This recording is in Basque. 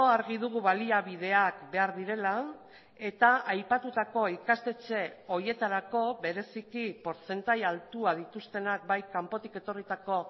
argi dugu baliabideak behar direla eta aipatutako ikastetxe horietarako bereziki portzentaia altua dituztenak bai kanpotik etorritako